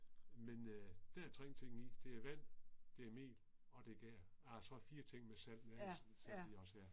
Men øh der er 3 ting i det er vand, det er mel og det er gær ah så 4 ting med salt men altså så er det også